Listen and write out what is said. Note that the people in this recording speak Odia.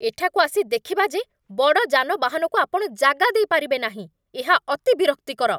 ଏଠାକୁ ଆସି ଦେଖିବା ଯେ ବଡ଼ ଯାନବାହନକୁ ଆପଣ ଜାଗା ଦେଇପାରିବେ ନାହିଁ, ଏହା ଅତି ବିରକ୍ତିକର।